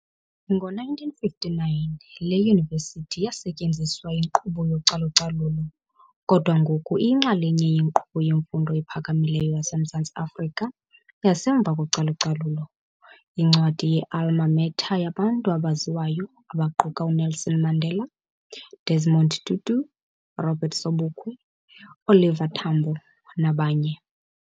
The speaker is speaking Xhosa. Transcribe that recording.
Ngo-1959, le yunivesithi yasetyenziswa yinkqubo yocalucalulo, kodwa ngoku iyinxalenye yenkqubo yemfundo ephakamileyo yaseMzantsi Afrika yasemva kocalucalulo. Yincwadi ye alma mater yabantu abaziwayo abaquka uNelson Mandela, Desmond Tutu, Robert Sobukwe, Oliver Tambo, nabanye.